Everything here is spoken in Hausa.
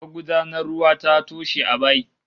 Magudanar ruwa ta toshe a bayi